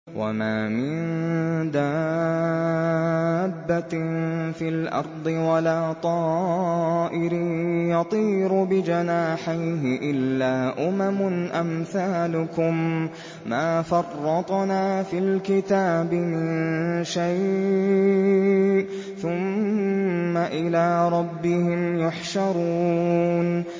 وَمَا مِن دَابَّةٍ فِي الْأَرْضِ وَلَا طَائِرٍ يَطِيرُ بِجَنَاحَيْهِ إِلَّا أُمَمٌ أَمْثَالُكُم ۚ مَّا فَرَّطْنَا فِي الْكِتَابِ مِن شَيْءٍ ۚ ثُمَّ إِلَىٰ رَبِّهِمْ يُحْشَرُونَ